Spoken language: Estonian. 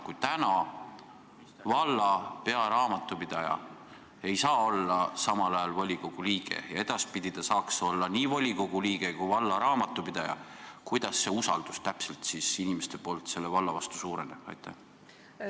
Kui täna valla pearaamatupidaja ei saa olla samal ajal volikogu liige ja edaspidi ta saaks olla nii volikogu liige kui ka valla pearaamatupidaja, kuidas see inimeste usaldus selle valla vastu siis täpselt suureneb?